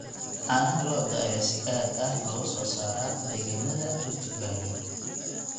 Caanaha lo'da ayaa si aad ah looga soo saaraa deegaannada Rift Valley.